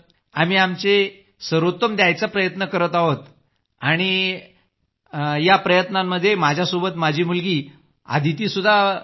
आम्ही आमचे सर्वोत्तम द्यायचे प्रयत्न करत आहोत आणि या प्रयत्नांमध्ये माझ्या सोबत माझी मुलगी अदिती देखील आहे